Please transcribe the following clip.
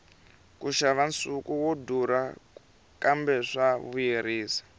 ku xava nsuku swa durha kambe swa vuyerisa